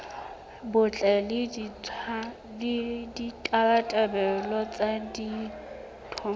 botle le ditabatabelo tsa ditho